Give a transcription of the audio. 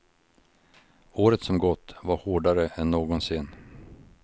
Året som gått var hårdare än någonsin.